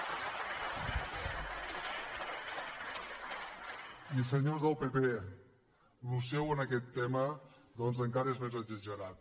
i senyors del pp això seu en aquest tema doncs encara és més exagerat